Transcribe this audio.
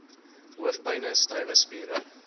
hoofpyne stywe spiere